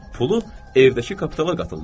Pulu evdəki kapitala qatırlar.